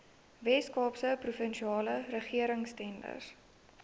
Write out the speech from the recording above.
weskaapse provinsiale regeringstenders